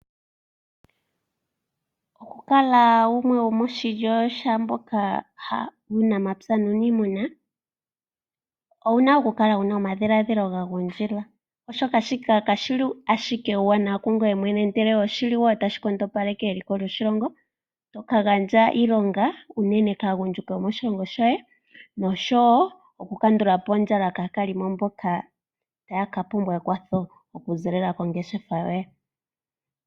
Okukala gumwe gomoshilyo shaamboka yuunamapya nuuniimuna owu na okukala wu na omadhiladhilo ga gundjila, oshoka shika kashi na ashike uuwanawa kungoye mwene ihe oshi li wo tashi nkondopaleke eliko lyoshilongo, to ka gandja iilonga unene kaagundjuka yomoshilongo shoye, nosho wo okukandula po ondjala kaakalimo mboka taya ka pumbwa ekwatho okuziilila kongeshefa yoye.